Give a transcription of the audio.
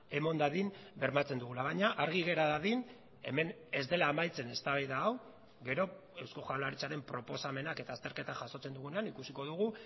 eman dadin bermatzen dugula baina argi gera dadin hemen ez dela amaitzen eztabaida hau gero eusko jaurlaritzaren proposamenak eta azterketa jasotzen dugunean ikusiko dugu